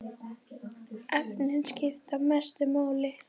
Efnin skipta mestu máli.